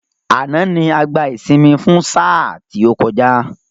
Àná ni a gbá ìsinmi fún sáà tí ó kọjá